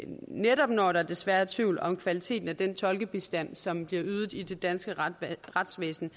netop når der desværre er tvivl om kvaliteten af den tolkebistand som bliver ydet i det danske retsvæsen